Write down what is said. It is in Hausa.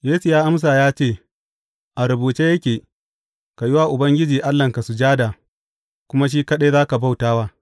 Yesu ya amsa ya ce, A rubuce yake, Ka yi wa Ubangiji Allahnka sujada, kuma shi kaɗai za ka bauta wa.’